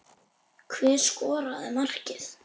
Hver skoraði markið?